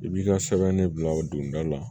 I b'i ka sɛbɛn de bila o donda la